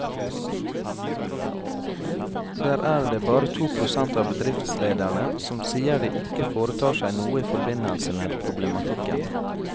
Der er det bare to prosent av bedriftslederne som sier de ikke foretar seg noe i forbindelse med problematikken.